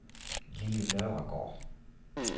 Lilli Nørregaard